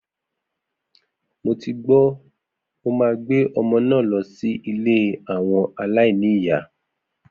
Mo ti gbó, mo máa gbé ọmọ náà lọ sí ilé àwọn aláìní ìyá.